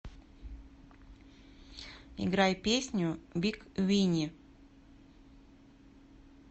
играй песню биг вини